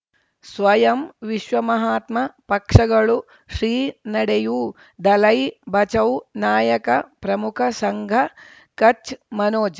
ಸ್ವಯಂ ವಿಶ್ವ ಮಹಾತ್ಮ ಪಕ್ಷಗಳು ಶ್ರೀ ನಡೆಯೂ ದಲೈ ಬಚೌ ನಾಯಕ ಪ್ರಮುಖ ಸಂಘ ಕಚ್ ಮನೋಜ್